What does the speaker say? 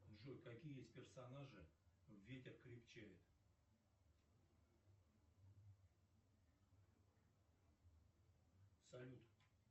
джой какие есть персонажи в ветер крепчает салют